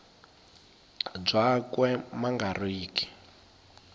byakwe ma nga ri ki